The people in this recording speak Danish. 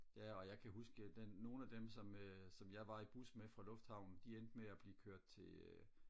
ja og jeg kan huske dem nogen af dem som øh som jeg var i bus med fra lufthavnen de endte med at blive kørt til øh